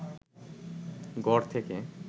ঘর থেকে